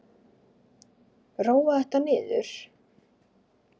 Róa þetta niður!